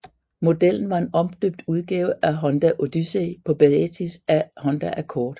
Modellen var en omdøbt udgave af Honda Odyssey på basis af Honda Accord